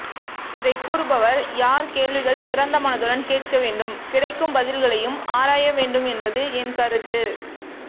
இதை கூறுபவர் யார் கேள்விகள் திறந்த மனதுடன் கேட்கவேண்டும் கிடைக்கும் பதில்களையும் ஆராய வேண்டும் என்பது என்கருத்து